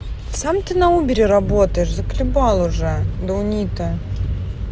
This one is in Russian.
сам ты на убере работаешь заколебал уже даунито